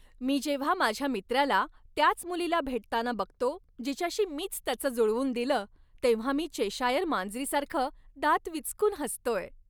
मी जेव्हा माझ्या मित्राला त्याच मुलीला भेटताना बघतो जिच्याशी मीच त्याचं जुळवून दिलं, तेव्हा मी चेशायर मांजरीसारखं दात विचकून हसतोय.